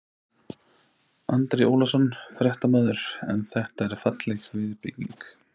Andri Ólafsson, fréttamaður: En þetta er falleg viðbygging?